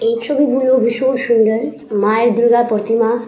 এই ছবি গুলো ভীষণ সুন্দর মায়ের দূগা প্রতিমা।